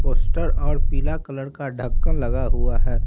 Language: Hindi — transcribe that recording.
पोस्टर और पीला कलर का ढक्कन लगा हुआ है।